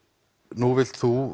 nú vilt þú